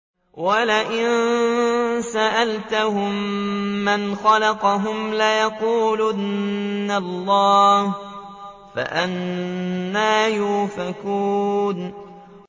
وَلَئِن سَأَلْتَهُم مَّنْ خَلَقَهُمْ لَيَقُولُنَّ اللَّهُ ۖ فَأَنَّىٰ يُؤْفَكُونَ